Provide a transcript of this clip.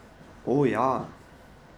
O, ja!